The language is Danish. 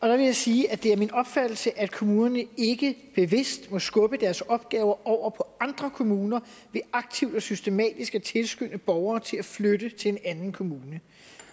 jeg vil sige at det er min opfattelse at kommunerne ikke bevidst må skubbe deres opgaver over på andre kommuner ved aktivt og systematisk at tilskynde borgere til at flytte til en anden kommune